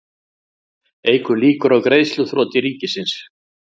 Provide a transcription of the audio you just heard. Eykur líkur á greiðsluþroti ríkisins